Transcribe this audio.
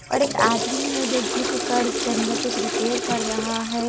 और एक आदमी है जो झुक कर इसके अंदर कुछ रिपेयर कर रहा हैं।